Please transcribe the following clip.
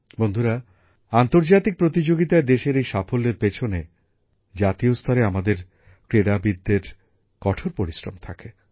বন্ধুরা আন্তর্জাতিক প্রতিযোগিতায় দেশের এই সাফল্যের পেছনে জাতীয় স্তরে আমাদের ক্রীড়াবিদদের কঠোর পরিশ্রম থাকে